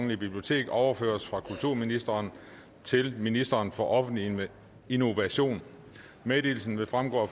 bibliotek overføres fra kulturministeren til ministeren for offentlig innovation meddelelsen vil fremgå af